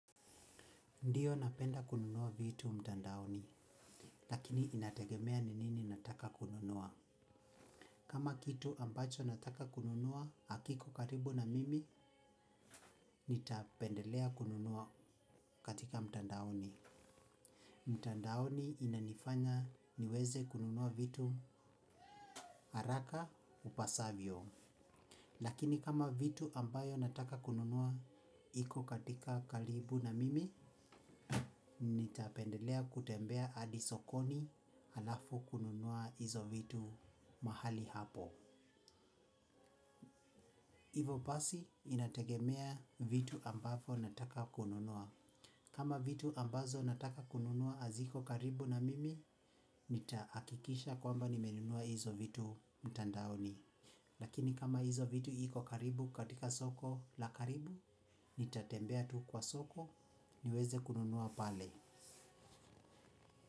Ndiyo napenda kununua vitu mtandaoni, lakini inategemea ni nini nataka kununua. Kama kitu ambacho nataka kununua, hakiko karibu na mimi, nitapendelea kununua katika mtandaoni. Mtandaoni inanifanya niweze kununua vitu harakaa upasavyo. Lakini kama vitu ambayo nataka kununua iko katika karibu na mimi, nitapendelea kutembea hadi sokoni halafu kununua hizo vitu mahali hapo. Hivo basi inategemea vitu ambavo nataka kununua. Kama vitu ambazo nataka kununua haziko karibu na mimi, nitahakikisha kwamba nimenunua hizo vitu mtandaoni. Lakini kama hizo vitu iko karibu katika soko la karibu nitatembea tu kwa soko niweze kununua pale.